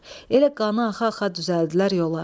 Elə qanı axa-axa düzəltdilər yola.